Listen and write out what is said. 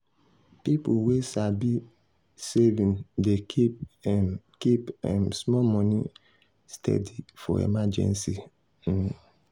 people wey sabi saving dey keep um keep um small money um steady for emergency. um